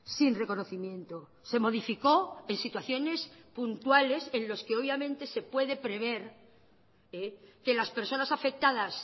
sin reconocimiento se modificó en situaciones puntuales en los que obviamente se puede prever que las personas afectadas